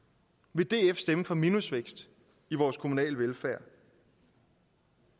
vil df stemme for minusvækst i vores kommunale velfærd